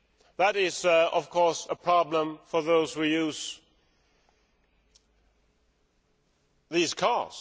That is, of course, a problem for those who use diesel cars.